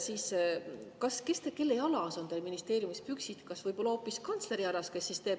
Kuidas siis on, kelle jalas on teie ministeeriumis püksid, kas võib olla, et need on hoopis kantsleri jalas, kes ühelt poolt võtab …